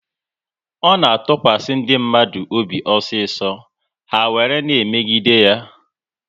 Ọ na-atụkwasị ndị mmadụ obi osiso, ha were na emegide ya